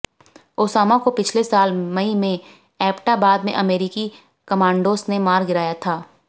Osama को पिछले साल मई में एबटाबाद में अमेरिकी कमांडोज ने मार गिराया था